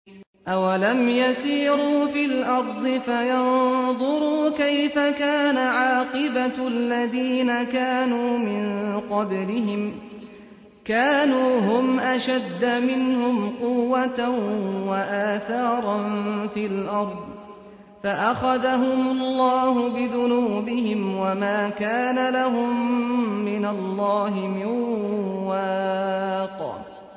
۞ أَوَلَمْ يَسِيرُوا فِي الْأَرْضِ فَيَنظُرُوا كَيْفَ كَانَ عَاقِبَةُ الَّذِينَ كَانُوا مِن قَبْلِهِمْ ۚ كَانُوا هُمْ أَشَدَّ مِنْهُمْ قُوَّةً وَآثَارًا فِي الْأَرْضِ فَأَخَذَهُمُ اللَّهُ بِذُنُوبِهِمْ وَمَا كَانَ لَهُم مِّنَ اللَّهِ مِن وَاقٍ